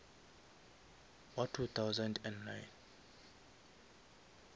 wa two thousand and nine